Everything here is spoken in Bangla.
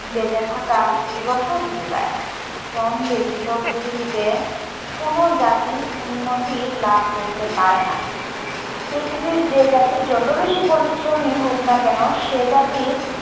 বেঁচে থাকার রশদ যোগায়। শ্রম ব্যতিত পৃথিবীতে কোনো জাতি উন্নতি লাভ করতে পারে না। পৃথিবীর যে জাতি যত বেশি পরিশ্রমী হোক না কেনো সে জাতি